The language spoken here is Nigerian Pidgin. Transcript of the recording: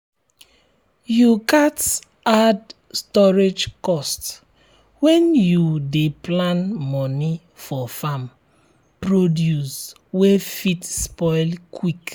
you gats add storage cost when you dey plan moni for farm produce wey fit spoil quick.